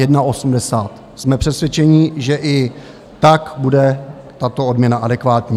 Jsme přesvědčeni, že i tak bude tato odměna adekvátní.